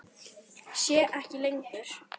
Sé ekki lengur.